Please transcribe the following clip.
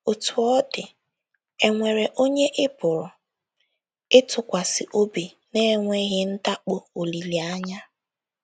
Otú ọ dị, e nwere onye ị pụrụ ịtụkwasị obi n'enweghị ndakpọ olileanya.